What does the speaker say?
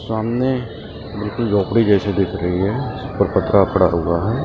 सामने बिल्कुल झोपड़ी जैसी दिख रही है उस पर पटरा पड़ा हुआ है ।